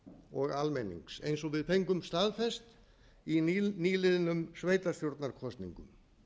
og almennings eins og við fengum staðfest í nýliðnum sveitarstjórnarkosningum